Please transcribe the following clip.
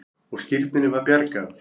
Og skírninni var bjargað.